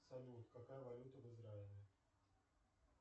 салют какая валюта в израиле